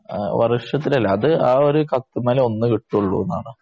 വർഷത്തിലല്ല അത് ആ ഒരു കത്ത്മ്മല് ഒന്ന് കിട്ടുള്ളൂ എന്നാണ്.